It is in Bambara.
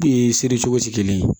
seri cogo tɛ kelen ye